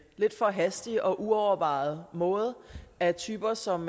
lidt for hastig og uovervejet måde af typer som